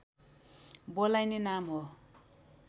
बोलाइने नाम हो